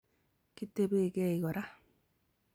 Kitebekei kora